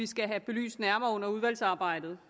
skal have belyst nærmere under udvalgsarbejdet